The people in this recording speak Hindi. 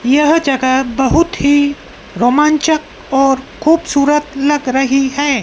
यह जगह बहुत ही रोमांचक और खूबसूरत लग रही है।